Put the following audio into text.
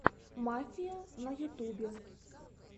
мафия на ютубе